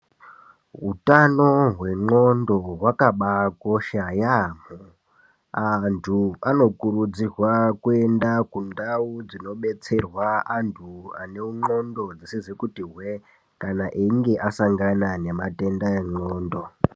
Hutano hwendxondo hwakabakosha yamho antu anokurudzirwa kuenda kundau dzinobetserwa vanthu vane ndxondo dzisizi kuti hwe, kana einge asangana nematenda endxondo.